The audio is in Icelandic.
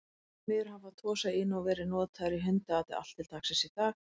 Því miður hafa Tosa Inu verið notaðir í hundaati allt til dagsins í dag.